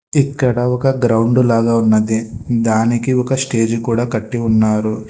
ఇక్కడ ఒక గ్రౌండు లాగా ఉన్నది దానికి ఒక స్టేజి కూడా కట్టి ఉన్నారు.